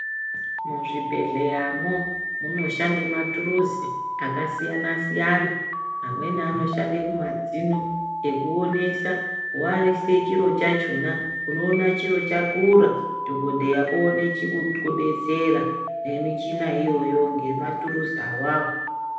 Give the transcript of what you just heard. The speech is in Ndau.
Muzvibhedhleyamo munoshande maturuzi akasiyana siyana amweni anoshande kumadzino ekuonesa waise chiro chachona unoona chiro chakura dhokodheya oone chekukubetsera nemichina iyoyo ngematuruzi awawo.